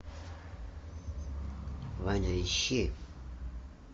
ваня ищи